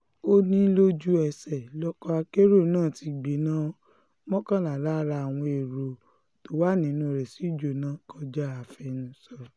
ó ní lójú-ẹsẹ̀ lọkọ̀ akérò náà ti gbiná mọ́kànlá lára àwọn ẹ̀rọ tó wà nínú rẹ̀ sì jóná kọjá àfẹnusọ